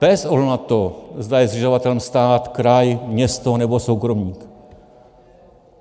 Bez ohledu na to, zda je zřizovatelem stát, kraj, město nebo soukromník.